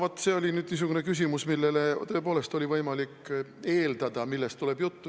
Vaat see oli niisugune küsimus, mille puhul tõepoolest oli võimalik eeldada, millest juttu tuleb.